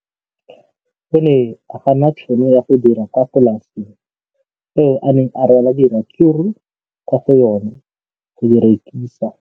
O ne a gana tšhono ya go dira kwa polaseng eo a neng rwala diratsuru kwa go yona go di rekisa.